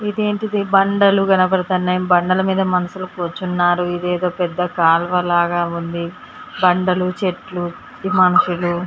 ఇదేంటిది బండలు కనబడుతున్నాయి బండల మీద మనుషులు కూర్చున్నారు ఇదేదో పెద్ద కాలువ లాగా ఉంది బండలు చెట్లు మనుషులు